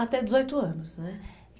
Até dezoito anos, né?